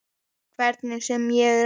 Hvernig sem ég reyni.